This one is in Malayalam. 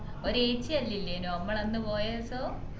ഒരു ഏച്ചി എല്ലു ഇല്ലെന്നോ നമ്മൾ അന്ന് പോയെസം